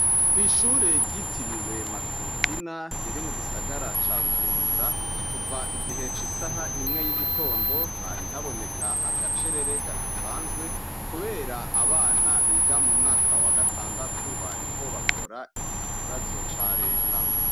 Kwishure ryitiriwe Matutina riri mu gisagara ca bujumbura, kuv' igihe c'isah' imwe y'igitondo, hari habonek' agacerere kadasanzwe, kuber' abana biga mu mwaka wa gatandatu bariko bakor' ikibazo ca Leta.